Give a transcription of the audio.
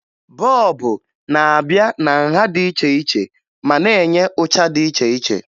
Bọọbụ n'abịa na nha dị iche ma na-enye ụcha dị iche iche